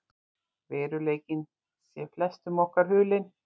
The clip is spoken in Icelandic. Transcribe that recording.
Veruleikinn sé flestum okkar hulinn.